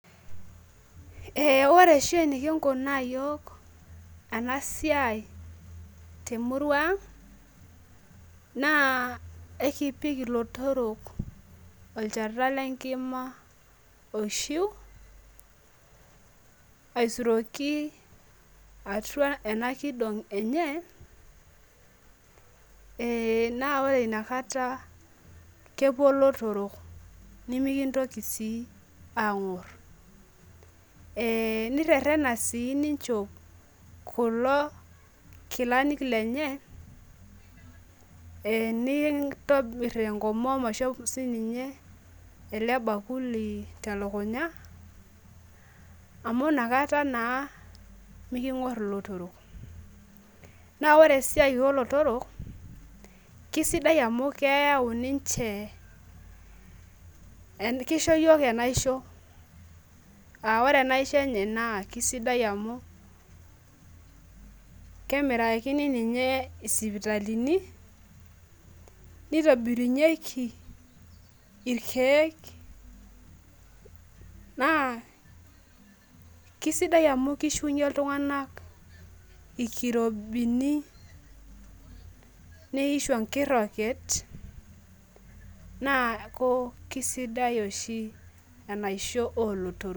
ee ore oshi eniki nkunua iyiok ena siai temurua ang' naa ekipik ilotorok olchata lenkima oishu, aisuroki atua ena kidong' enye naa ore inakata naa kepuo ilotorok nimikintoki ang'or ee nirerena sii nichop kulo kilani lenye, nintomir enkomom aishop ela bakuli telukunya amu inakata naa miking'or ilo torok naa ore eisai oolotorok naa kisidai amu kisho iyiok enaisho ,aa ore ena isho enye kisidai amu kemirakini ninye isipitalini, nitobirunyieki ilkeek naa kisidai ami kishunyie iltung'anak ilkirobini, nishu enkiroket naa kisidai oshi enaisho oolotorok.